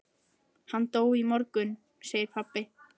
Hann dó í morgun, segir pabbi.